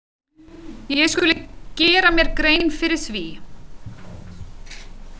Ég skuli gera mér grein fyrir því.